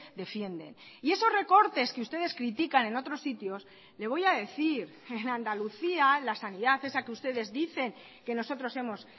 defienden y esos recortes que ustedes critican en otros sitios le voy a decir en andalucía la sanidad esa que ustedes dicen que nosotros hemos